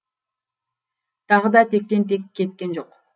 тағы да тектен тек кеткен жоқ